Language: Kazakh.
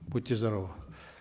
будьте здоровы